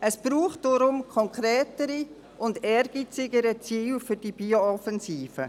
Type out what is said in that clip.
Es braucht deshalb konkretere und ehrgeizigere Ziele für die Bio-Offensive.